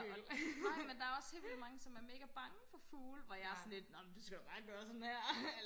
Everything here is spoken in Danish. nej men der også helt vildt mange som er mega bange for fugle hvor jeg er sådan lidt nå du skal da bare gøre sådan her